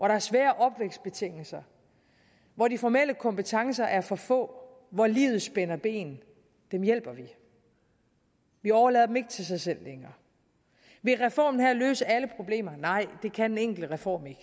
er svære opvækstbetingelser hvor de formelle kompetencer er for få hvor livet spænder ben hjælper vi vi overlader dem ikke til sig selv længere vil reformen her løse alle problemer nej det kan en enkelt reform ikke